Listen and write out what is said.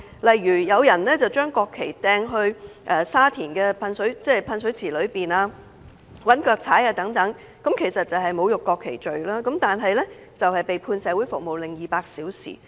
例如有人將國旗丟進沙田的噴水池、又用腳踐踏國旗，亦即干犯侮辱國旗罪，但最後只被判社會服務令200小時。